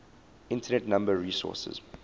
internet number resources